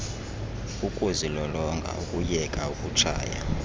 ukuzilolonga ukuyeka ukutshaya